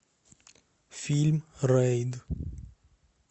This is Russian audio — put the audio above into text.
фильм рейд